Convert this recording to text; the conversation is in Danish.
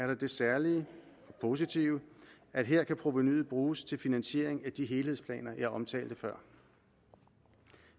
der det særlig positive at her kan provenuet bruges til finansiering af de helhedsplaner jeg omtalte før